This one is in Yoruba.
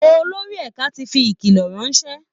Olórí ẹ̀ka ti fi ìkìlọ̀ ránṣẹ́